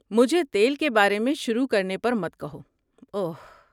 مجھے تیل کے بارے میں شروع کرنے پر مت کہو، اوہ۔